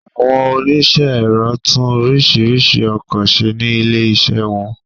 Àwọn oníṣẹ́ ẹ̀rọ tún oríṣiríṣi ọkọ ṣe ní ilé ìṣe wọn